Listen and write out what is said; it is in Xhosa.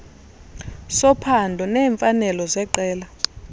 sophando neemfanelo zeqela